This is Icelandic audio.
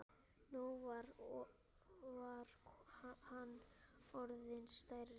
Nú var hann orðinn stærri.